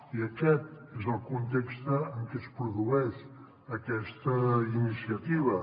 i aquest és el context en què es produeix aquesta iniciativa